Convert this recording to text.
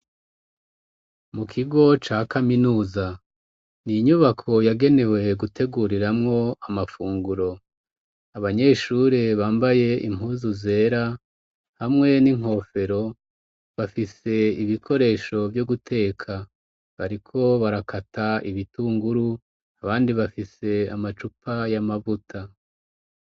Mu kigo ca kaminuza ni inyubako yagenewe guteguriramwo amafunguro. Abanyeshure bambaye impuzu zera hamwe n'inkofero bafise ibikoresho vyo guteka bariko barakata ibitunguru abandi bafise amacupa y'amavuta.